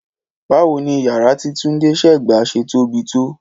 Báwo ni yàrá tí Túndé ṣẹ̀ gbà ṣe tóbi tó?